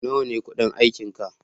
Nawa ne kudin aikinka?